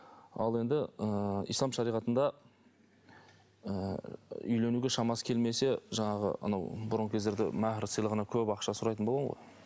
ал енді ыыы ислам шариғатында ы үйленуге шамасы келмесе жаңағы анау бұрынғы кездерде махр сыйлығына көп ақша сұрайтын болған ғой